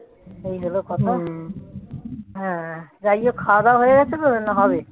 এই হল কথা যাই হোক খাওয়া দাওয়া হয়ে গেছে না হবে